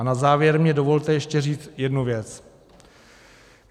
A na závěr mi dovolte ještě říct jednu věc.